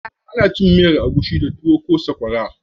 Ana cin miyan agushi da tuwo ko sakwara